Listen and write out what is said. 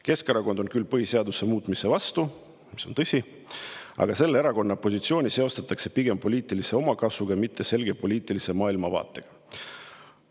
Keskerakond on küll põhiseaduse muutmise vastu , aga selle erakonna positsiooni seostatakse pigem poliitilise omakasuga, mitte selge poliitilise maailmavaatega.